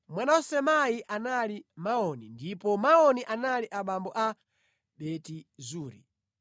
Mwana wa Samai anali Maoni, ndipo Maoni anali abambo a Beti Zuri.